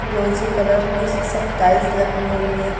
रोजी कलर की सब टाइल्स लगी हुई है।